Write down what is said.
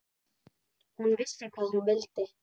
Hún vissi hvað hún vildi.